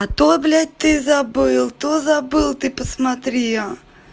а то блять ты забыл то забыл ты посмотри а